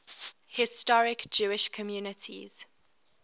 historic jewish communities